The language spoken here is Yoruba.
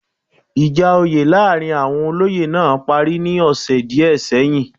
Ìjà oyè láàrin àwon olóyè náà parí ní ọ̀sẹ̀ díẹ̀ sẹ́yìn